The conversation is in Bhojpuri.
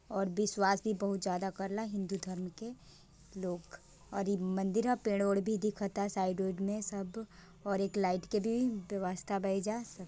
ओर विश्वास भी बोहोत ज्यादा करेला हिन्दू धर्म के लोग और ई मंदिर है पेड़ वेद भी दिखत है साइड मे सब और एक लाइट की दुई रास्ता बैजा--